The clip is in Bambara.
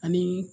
Ani